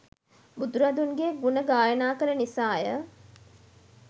බුදුරදුන්ගේ ගුණ ගායනා කළ නිසා ය.